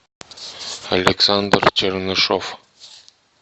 александр чернышов